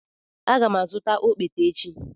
Aga m azụta okpete echi.